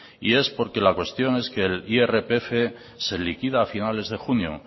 y es porque la cuestión es que el irpf se liquida a finales de junio